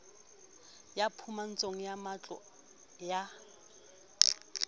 ya phumantsho ya matlo ya